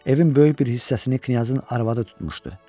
Evin böyük bir hissəsini knyazın arvadı tutmuşdu.